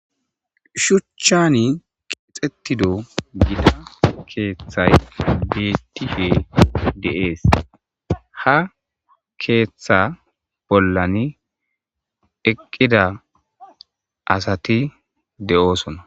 Shuchchani qeexetido gida keeththay detife deees ha keeththa bollani eqqida asati de'osona.